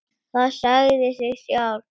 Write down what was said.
Það sagði sig sjálft.